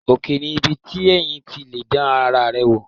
Òkè ni ibi téèyàn ti lè dán ara rẹ wò